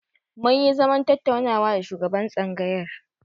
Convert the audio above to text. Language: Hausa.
Mun yi zaman tattaunawa da shugaban tsangayar.